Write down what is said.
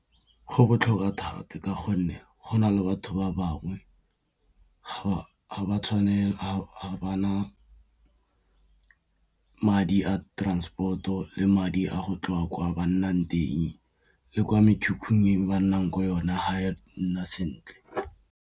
Go botlhokwa thata ka gonne go na le batho ba bangwe ga ba na madi a transport-o le madi a go tloga kwa ba nnang teng le kwa mekhukhung e ba nnang ko yone ga e nna sentle.